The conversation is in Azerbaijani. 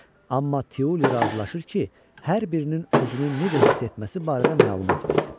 Amma Tiuli razılaşır ki, hər birinin özünü necə hiss etməsi barədə məlumat versin.